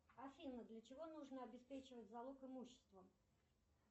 афина для чего нужно обеспечивать залог имуществом